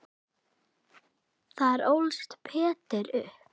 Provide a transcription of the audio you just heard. Þar ólst Peder upp.